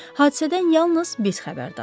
Hadisədən yalnız biz xəbərdarıq.